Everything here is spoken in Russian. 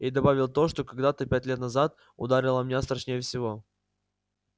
и добавил то что когда-то пять лет назад ударило меня страшнее всего